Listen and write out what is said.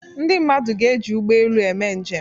Ndị mmadụ ga-eji ụgbọelu eme njem.